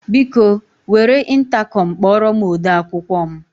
Biko, were ịntakọm kpọrọ m ode akwụkwọ m.